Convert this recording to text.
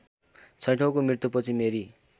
छैठौँको मृत्युपछि मेरी